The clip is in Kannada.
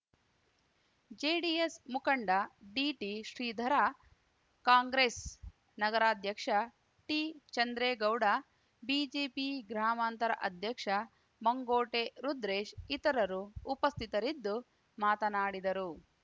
ಜೆಡಿಎಸ್‌ ಮುಖಂಡ ಡಿಟಿ ಶ್ರೀಧರ ಕಾಂಗ್ರೆಸ್‌ ನಗರಾಧ್ಯಕ್ಷ ಟಿಚಂದ್ರೇಗೌಡ ಬಿಜೆಪಿ ಗ್ರಾಮಾಂತರ ಅಧ್ಯಕ್ಷ ಮಂಗೋಟೆ ರುದ್ರೇಶ್‌ ಇತರರು ಉಪಸ್ಥಿತರಿದ್ದು ಮಾತನಾಡಿದರು